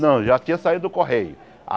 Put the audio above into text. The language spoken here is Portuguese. Não, já tinha saído do Correio.